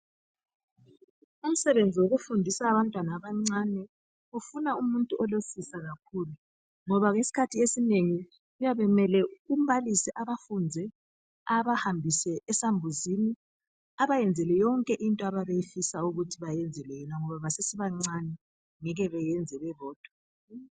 Umsebenzi wokufundisa abantwana abancane kufuna umuntu olesisa kakhulu ngoba iskhathi esinengi kuyabe kumele umbalisi abafundze abahambise esambuzini abayenzele yonke into abayabe befisa ukuthi bayenzelwe yona ngoba basesebancane ngeke beyenze bebodwa.